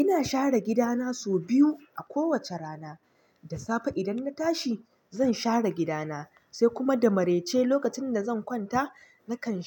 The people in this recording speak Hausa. Ina share gidana sau biyu a kowace rana. Da safe idan na tashi zan share gida na, sai kuma da marai ce lokacin da zan kwanta nakan,